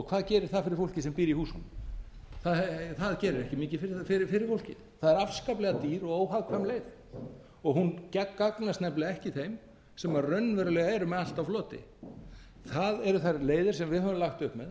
hvað gerir það fyrir fólkið sem býr í húsunum það gerir ekki mikið fyrir fólkið það er afskaplega dýr og óhagkvæm leið og hún gagnast nefnilega ekki þeim sem raunverulega eru með allt á floti það eru þær leiðir sem við höfum lagt upp með